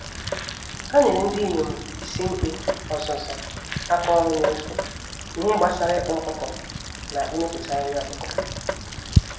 Ha nyèrè ndinyom ísì-mkpe ọzụzụ àkà ọrụ nefu, n'ihe gbásárá ịkpa ọkụkọ na imepụta nri ọkụkọ.